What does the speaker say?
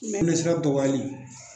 Ɲɛgɛnɛsira dɔgɔyali